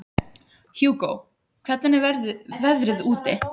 Hugó, hvernig er veðrið úti?